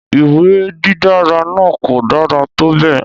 Ìwé dídára náà kò dára tó bẹ́ẹ̀